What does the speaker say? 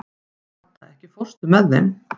Hadda, ekki fórstu með þeim?